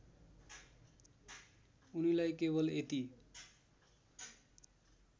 उनीलाई केवल यति